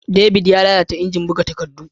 David ya lalata ingin buga takaddu.